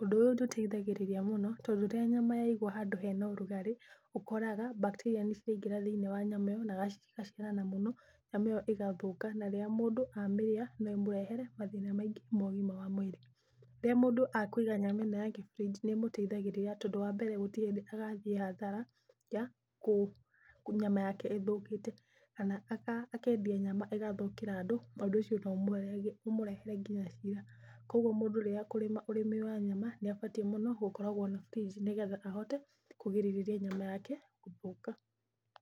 Ũndũ ũyũ nĩ ũteithagĩriria muno, tondũ rĩrĩa nyama yaigwo handũ hena ũrugarĩ ũkoraga bacteria nĩ ciaingra thĩiniĩ wa nyama ĩyo na cigaciarana mũno nyama ĩyo ĩgathũka. Na rĩrĩa mũndũ amĩria no ĩmũrehere mathĩna maingĩ ma ũgima wa mwĩrĩ. Rĩrĩa mũndũ akũiga nyama ĩyo ya ke fridge nĩ ĩmũteithagĩrĩria, tondũ wa mbere gũtirĩ hĩndĩ agathiĩ hathara ya, nyama yake ĩthũkĩte. Kana akendia nyama ĩgathũkĩra andũ, ũndũ ũcio no ũmũrehere nginya cira. Koguo mũndũ rĩrĩa ekũrĩma ũrĩmi wa nyama nĩ abatiĩ mũno gũkoragwo na fridge, nĩgetha ahote kũgirĩrĩria nyama yake gũthũka.